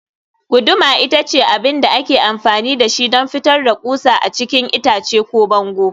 guduma ita ce abin da ake amfani da shi don fitar da ƙusa a cikin itace ko bango